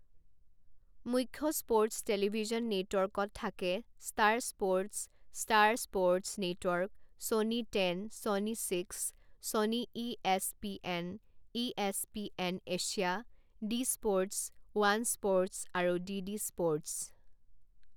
মুখ্য sports television নে'টৱৰ্কত থাকে star sports, star sports network, Sony Ten, Sony Six, Sony ESPN, ESPN Asia, D sports, one sports আৰু DD sports.